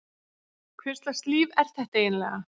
Hvurslags líf er þetta eiginlega?